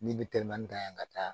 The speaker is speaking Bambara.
Ni bɛ telimanin ta yan ka taa